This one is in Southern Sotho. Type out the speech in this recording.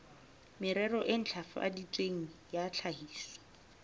merero e ntlafaditsweng ya tlhahiso